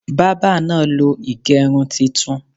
Bábà náà lo ìgẹrun titun.